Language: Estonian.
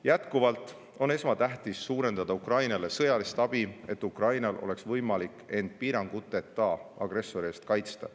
Jätkuvalt on esmatähtis suurendada Ukrainale sõjalist abi, et Ukrainal oleks võimalik end agressori eest piiranguteta kaitsta.